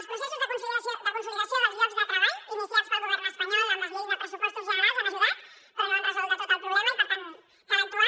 els processos de consolidació dels llocs de treball iniciats pel govern espanyol amb les lleis de pressupostos generals han ajudat però no han resolt del tot el problema i per tant cal actuar